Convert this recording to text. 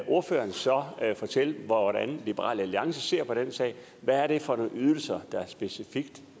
ordføreren så fortælle hvordan liberal alliance ser på den sag hvad er det for nogle ydelser der specifikt